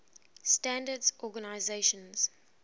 standards organizations